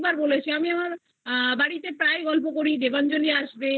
বার বলেছি আমি আমার বাড়িতে প্রায়ই গল্প করি দেবাঞ্জলি আসবে